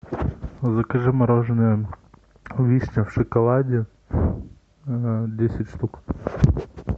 закажи мороженое вишня в шоколаде десять штук